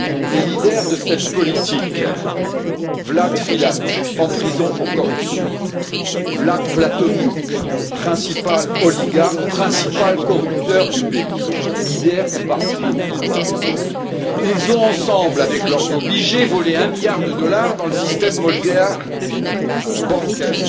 Les meneurs de cette politique Vlad Filat, en prison pour corruption, Vlad Plahotniuc, principal oligarque et principal corrupteur du pays, dirigeant du parti au pouvoir ont ensemble, avec leurs obligés, volé un milliard de dollars dans le système bancaire